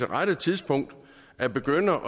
rette tidspunkt at begynde